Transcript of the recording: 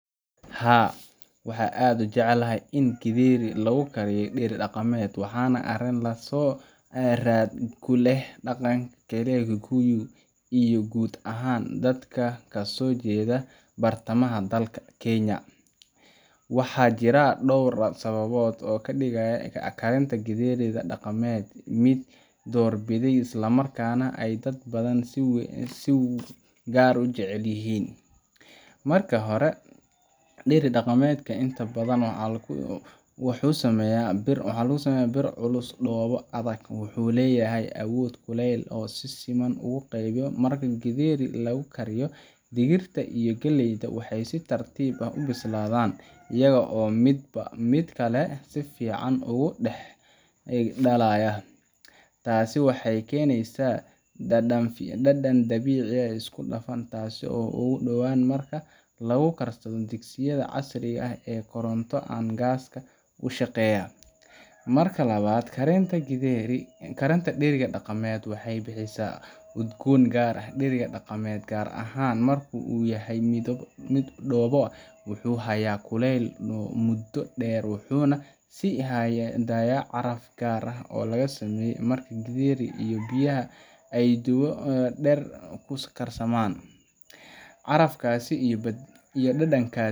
Haa waxa aad ujeclahay in githeri lagu kariyo dheri dhaqameed waxana Arin laso rarad kuleh dhaqan girayo guud iyo gud ahaan dadka kasojedha bartamaha dalka kenya. Waxa jira dowr sawabod oo kadigaya kalinta githeriga dhaqameed mid door bidhay isla markana ay dad badhan si gaar ujecelyihin. Marki hora dheri dhaqameed inta badhan waxu sameya bir waxana laguameya bir culus dooba adhag. Wuxu leyahay awood kulel oo si siman ugu qeybiyo marka githeri lagukariyo digirta iyo gileyda waxay si tartiib ah u bisladhan iyago midba mid kale safican ugu dex dalayan. Taasi waxay keneysa dadan dabici ah oo isku dafan taaso ugu dawaan marka lagu garsadha digsayadha casriga ah ee koronta an gaaska ushaqeya. Marka labad karinta dheriga dhaqameed waxay bixisaa udgoon gaar ah dheriga dhaqameed gaar ahaan marku yahay mid dooba wuxu haya kuleel mudo dheer wuxuna si haya daya caraf gaar ah oo lagasamey marka githeri biyaha ay dheer ku karsamaan. Carafkas iyo dadankas.